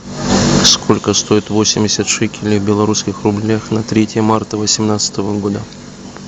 сколько стоит восемьдесят шекелей в белорусских рублях на третье марта восемнадцатого года